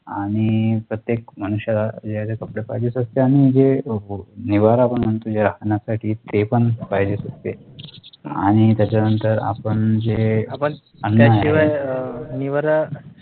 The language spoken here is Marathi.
आणि प्रतेय्क मनुष्याला घालायला कपडे पाहिजेच असते आणि जे निवारा आपण म्हणतो जे राहण्यासाठी ते पण पाहिजेच असते आणि त्याच्यानंतर आपण जे